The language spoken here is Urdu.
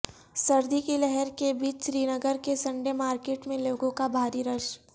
سردی کی لہر کے بیچ سرینگر کے سنڈے مارکیٹ میں لوگوں کا بھاری رش